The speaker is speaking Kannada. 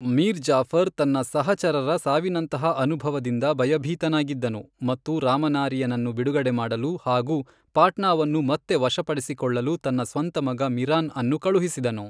ಮೀರ್ ಜಾಫರ್ ತನ್ನ ಸಹಚರರ ಸಾವಿನಂತಹ ಅನುಭವದಿಂದ ಭಯಭೀತನಾಗಿದ್ದನು ಮತ್ತು ರಾಮನಾರಿಯನನ್ನು ಬಿಡುಗಡೆ ಮಾಡಲು ಹಾಗೂ ಪಾಟ್ನಾವನ್ನು ಮತ್ತೆ ವಶಪಡಿಸಿಕೊಳ್ಳಲು ತನ್ನ ಸ್ವಂತ ಮಗ ಮಿರಾನ್ ಅನ್ನು ಕಳುಹಿಸಿದನು.